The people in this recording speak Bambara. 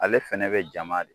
Ale fɛnɛ bɛ jama de